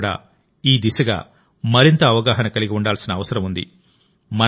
మనం కూడా ఈ దిశగా మరింత అవగాహన కలిగి ఉండాల్సిన అవసరం ఉంది